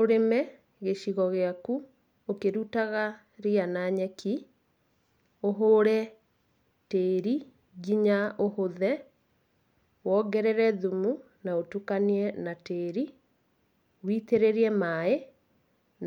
Ũrĩme gĩcigo gĩaku ũkĩrutaga ria na nyeki, ũhũre tĩĩri nginya ũhũthe, wongerere thumu na ũtukanie na tĩĩri, witĩrĩrie maĩ